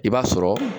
I b'a sɔrɔ